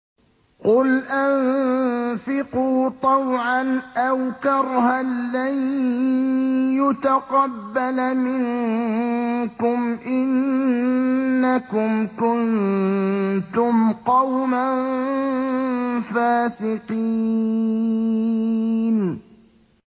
قُلْ أَنفِقُوا طَوْعًا أَوْ كَرْهًا لَّن يُتَقَبَّلَ مِنكُمْ ۖ إِنَّكُمْ كُنتُمْ قَوْمًا فَاسِقِينَ